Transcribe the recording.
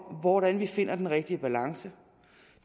hvordan vi finder den rigtige balance